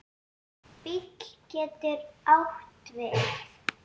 BÍL getur átt við